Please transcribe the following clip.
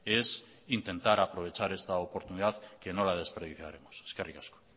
es intentar aprovechar esta oportunidad que no la desperdiciaremos eskerrik asko